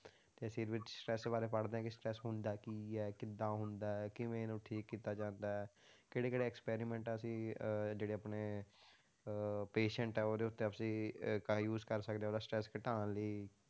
ਤੇ ਅਸੀਂ ਵਿੱਚ stress ਬਾਰੇ ਪੜ੍ਹਦੇ ਹਾਂ ਕਿ stress ਹੁੰਦਾ ਕੀ ਹੈ, ਕਿੱਦਾਂ ਹੁੰਦਾ ਹੈ, ਕਿਵੇਂ ਇਹਨੂੰ ਠੀਕ ਕੀਤਾ ਜਾਂਦਾ ਹੈ, ਕਿਹੜੇ ਕਿਹੜੇ experiment ਅਸੀਂ ਅਹ ਜਿਹੜੇ ਆਪਣੇ ਅਹ patient ਆ ਉਹਦੇ ਉੱਤੇ ਅਸੀਂ ਅਹ ਕਰ use ਕਰ ਸਕਦੇ ਹਾਂ ਉਹਦਾ stress ਘਟਾਉਣ ਲਈ,